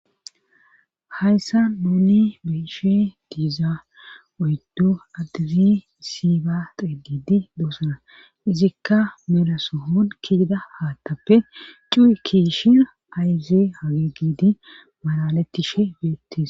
Hayssa nuuni beeshe diiza oyddu addizi issi ba qeedidi doosana izikka meelaso hon kiida haattappe cu7i kiishin ayze hagegidi malalettishe beettis.